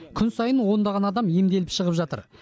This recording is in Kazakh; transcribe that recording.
күн сайын ондаған адам емделіп шығып жатыр